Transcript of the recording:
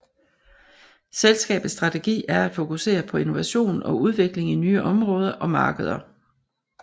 Selskabets strategi er at fokusere på innovation og udvikling i nye område og markeder